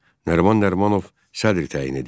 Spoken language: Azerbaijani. Nəriman Nərimanov sədr təyin edildi.